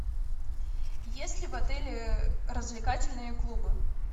есть ли в отеле развлекательные клубы